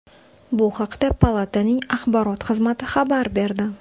Bu haqda palataning axborot xizmati xabar berdi .